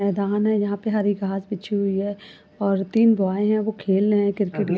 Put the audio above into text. मैदान है यहाँ पर हरी घास बिछी हुई है और तीन बॉय हैं वो खेल रहे हैं क्रिकेट --